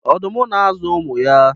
ọdụm na-azụ ụmụ ya